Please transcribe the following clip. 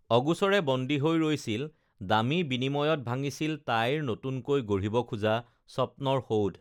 অগোচৰে বন্দী হৈ ৰৈছিল দামী বিনিময়ত ভাঙিছিল তাইৰ নতুনকৈ গঢ়িব খোজা স্বপ্নৰ সৌধ